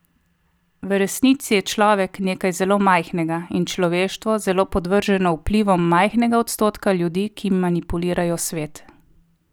V resnici je človek nekaj zelo majhnega in človeštvo zelo podvrženo vplivom majhnega odstotka ljudi, ki manipulirajo svet.